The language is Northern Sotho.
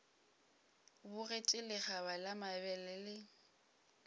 bogetše lekgaba la mabele le